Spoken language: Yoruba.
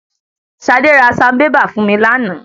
Ṣadé ra sanbébà fún mi lánàá.